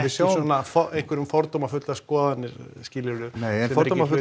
svona einhverjar skoðanir skilurðu nei en